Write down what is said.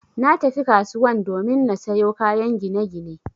Natafi kasuwan domin na sayo kayan ginagine